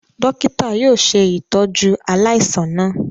Dokita yóò ṣe itọju aláìsàn náà